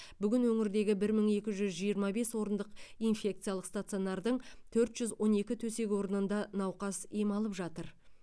бүгін өңірдегі бір мың екі жүз жиырма бес орындық инфекциялық стационардың төрт жүз он екі төсек орнында науқас ем алып жатыр